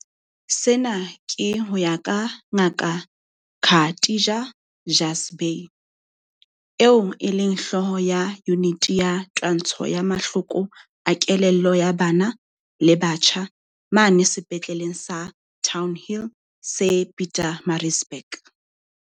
Sena ke ho ya ka Ngaka Khatija Jhazbhay, eo e leng hlooho ya Yuniti ya Twantsho ya Mahloko a Kelello ya Bana le Batjha mane Sepetleleng sa Townhill se Pietermaritzburg.